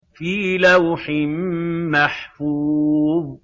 فِي لَوْحٍ مَّحْفُوظٍ